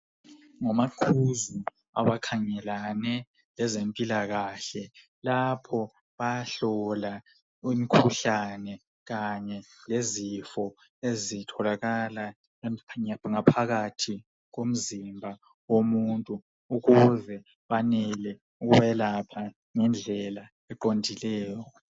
Ngomaqhuzu abakhangelane lezempilakahle lapho bayahlola imikhuhlane kanye lezifo ezitholakala ngaphakathi komzimba womuntu ukuze banele ukwelapha ngendlela eqondileyo